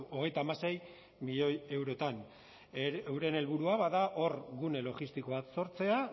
hogeita hamasei milioi eurotan euren helburua bada hor gune logistiko bat sortzea